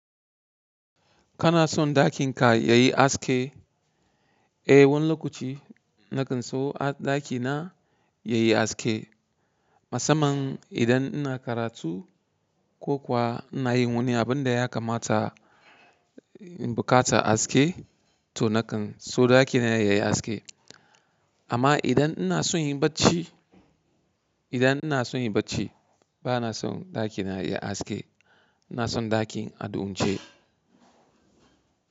Kana son ɗakin ka yayi haske? Eh, wani lokaci na kan so har ɗakina yayi haske. Musamman idan ina karatu ko kuwa ina yin wani abun da ya kamata in buƙata haske, to na kan so ɗakina yayi haske. Amma idan ina son in yi bacci, idan ina son yin bacci bana son ɗakina yayi haske. Ina son ɗakin a duhunce.